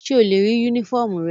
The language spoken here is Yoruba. Ṣe o le rii unifọmú rẹ?